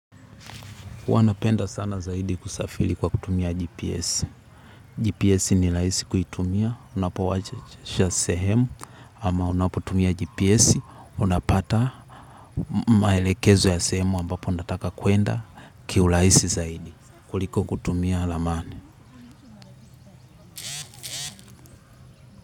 Huwa napenda sana zaidi kusafiri kwa kutumia GPS. GPS ni raisi kuitumia. Unapo washa sehemu ama unapotumia GPS. Unapata maelekezo ya sehemu ambapo unataka kwenda kiuraisi zaidi. Kuliko kutumia ramani.